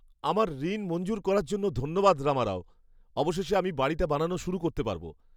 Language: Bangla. আমার ঋণ মঞ্জুর করার জন্য ধন্যবাদ রামারাও। অবশেষে আমি বাড়িটা বানানো শুরু করতে পারব।